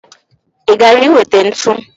I gara i weta ntu?